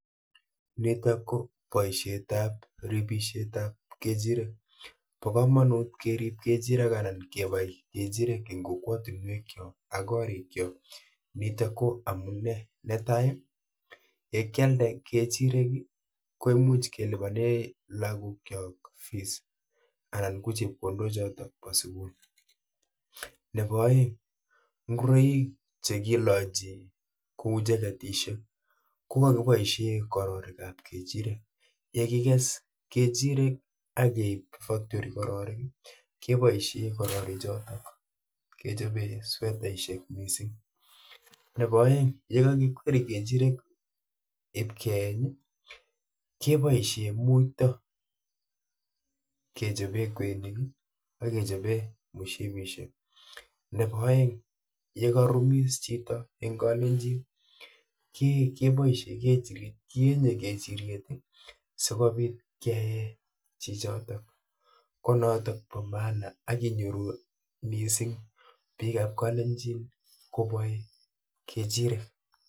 Niitok ko boisiet apribisiet ap kechirek. Pa komonut kerib kechirek anan kebai kechirek ing' kokwotunwek chookak koriik chook. niitok ko amune; netai, yekealde kechirekko much kelipane lagook chook fees anan ko chepkondok chootok pa sugul. Nebo aeng, ngoroik chekilachi kouu cheketishek kokaboisie kororik ap kechirek, yekikes kechirek akeib factory kororik keboisie kororik chootok kechobe swetaisiek miising'. nebo aeng', ye kakikweri kechirek ipkeeny, keboisie muuyto kechobe kweinik akechobe mushipisiek. nebo aeng' yekarumis chito ing'kalenjin keboisi, kienye kechiriet sikobiit kee chichotok ko nootok koba maana akinyoru miising' biikap kalenjin kobae kechirek